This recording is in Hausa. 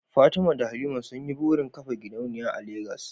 Fatima da Halima sun yi burin kafa gidauniya a Legas